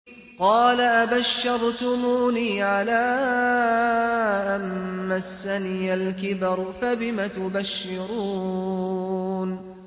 قَالَ أَبَشَّرْتُمُونِي عَلَىٰ أَن مَّسَّنِيَ الْكِبَرُ فَبِمَ تُبَشِّرُونَ